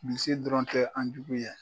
Bilisi dɔrɔn tɛ an jugu ye